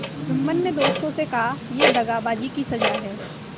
जुम्मन ने दोस्तों से कहायह दगाबाजी की सजा है